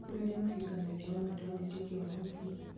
nĩ kũrĩ arĩa mahikagia o andũ a wĩtĩkio wao tu